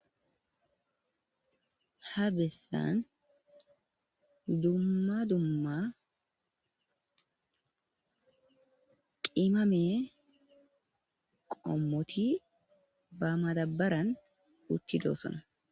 ha bessan dumma dumma qimame qommoti ba madabaran utti doossona